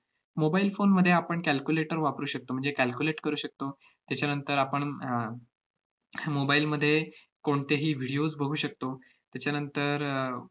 mobile phone मध्ये आपण calculator वापरू शकतो, म्हणजे calculate करू शकतो. त्याच्यानंतर आपण अह mobile मध्ये कोणतेही videos बघू शकतो, त्याच्यानंतर अह